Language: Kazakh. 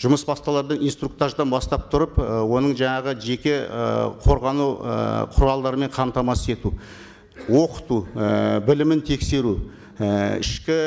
жұмыс басталарда инструктаждан бастап тұрып і оның жаңағы жеке ы қорғану ы құралдарымен қамтамасыз ету оқыту і білімін тексеру і ішкі